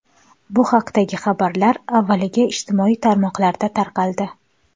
Bu haqdagi xabarlar avvaliga ijtimoiy tarmoqlarda tarqaldi.